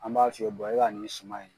An b'a f'i ye e ka nin suma in